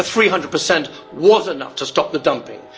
The 300 was enough to stop the dumping.